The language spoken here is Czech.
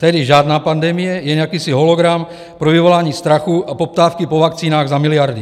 Tedy žádná pandemie, jen jakýsi hologram pro vyvolání strachu a poptávky po vakcínách za miliardy.